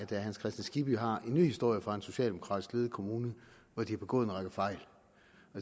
herre hans kristian skibby har en ny historie fra en socialdemokratisk ledet kommune hvor de har begået en række fejl